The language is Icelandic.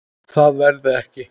Það verði ekki.